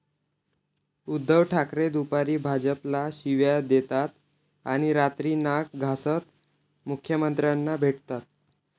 उद्धव ठाकरे दुपारी भाजपला शिव्या देतात आणि रात्री नाक घासत मुख्यमंत्र्यांना भेटतात'